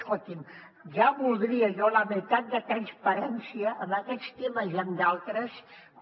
escolti’m ja voldria jo la meitat de transparència en aquests temes i en d’altres com